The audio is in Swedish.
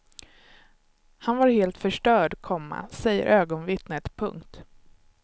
Han var helt förstörd, komma säger ögonvittnet. punkt